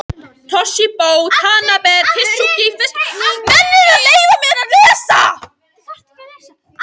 Toshizo Tanabe, Tsukiji fiskmarkaðnum í Tókíó.